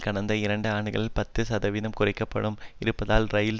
கடந்த இரண்டு ஆண்டுகளில் பத்து சதவீதம் குறைக்கப்பட்டும் இருப்பதால் இரயில்